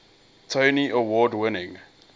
tony award winning